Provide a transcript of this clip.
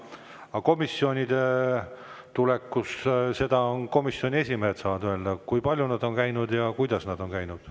Aga komisjonidesse tuleku saavad komisjonide esimehed öelda, kui palju nad on käinud ja kuidas nad on käinud.